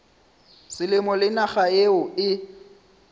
selemo le naga yeo e